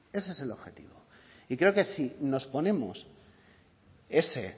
ese es el objetivo y creo que si nos ponemos ese